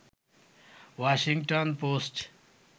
Washington post